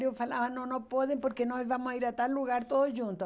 Eu falava, não, não podem, porque nós vamos ir a tal lugar todos juntos.